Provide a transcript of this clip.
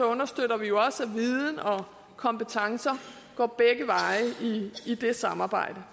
understøtter vi jo også at viden og kompetencer går begge veje i det samarbejde